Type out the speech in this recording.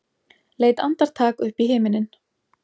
Leit andartak upp í himininn.